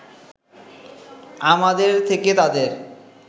আমাদের থেকে তাদের